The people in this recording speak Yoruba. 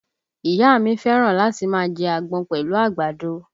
Ìyá a mi fẹ́ràn láti máa jẹ́ àgbọn pẹ̀lú àgbàdo